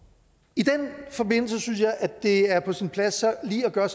i den forbindelse synes jeg det er på sin plads lige at gøre